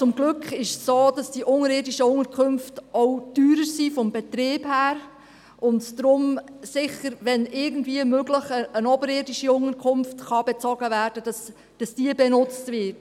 Zum Glück ist es jedoch so, dass die unterirdischen Unterkünfte vom Betrieb her auch teurer sind und deshalb, wenn irgendwie möglich, eine oberirdische Unterkunft benutzt wird.